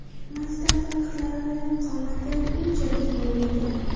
Maktab vaqtlari qomatim unchalik bo‘lmagan”.